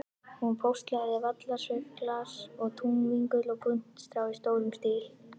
Hún póstlagði vallarsveifgras og túnvingul og puntstrá í stórum stíl.